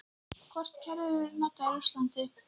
Hvort kerfið verður notað í Rússlandi?